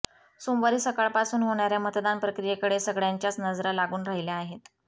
सोमवारी सकाळपासून होणाऱया मतदान प्रक्रियेकडे सगळय़ांच्याच नजरा लागून राहिल्या आहेत